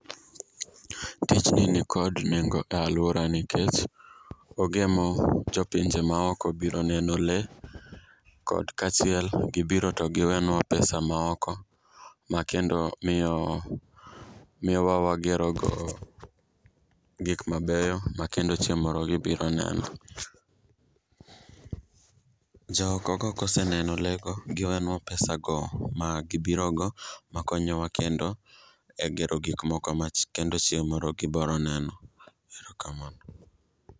Tijni nikod nengo e alwora nikech ogemo jo pinje maoko biro neno lee, kod kaachiel gibiro to giwenwa pesa maoko, makendo miyowa wagerogo gik mabeyo makendo chieng' moro gibiro neno. Jookogo koseneno lee go giwenwa pesago magibirogo makonyowa kendo e gero gikmoko ma kendo chieng' moro gibiro neno, ero kamano.